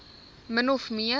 min of meer